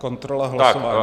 Kontrola hlasování.